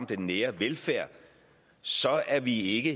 den nære velfærd så er vi ikke